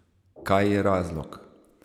Kaj je razlog?